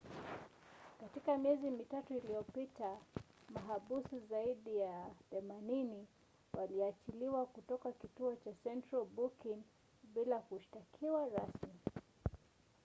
katika miezi mitatu iliyopita mahabusu zaidi ya 80 waliachiliwa kutoka kituo cha central booking bila kushtakiwa rasmi